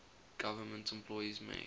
government employees make